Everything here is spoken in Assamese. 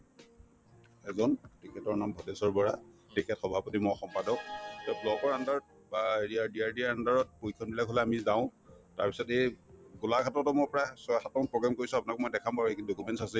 এজন তেখেতৰ নাম পটেশ্বৰ বৰা তেখেত সভাপতি মই সম্পাদক তেওঁ block ৰ under ত বা under ত position বিলাক হলে আমি যাওঁ তাৰপিছত এই গোলাঘাটতো মোৰ প্ৰায় ছয়-সাতটামান program কৰিছো আপোনালোকক মই দেখাম বাৰু এইখিনি documents আছেই